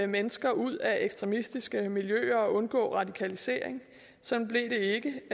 mennesker ud af ekstremistiske miljøer og undgå radikalisering sådan blev det ikke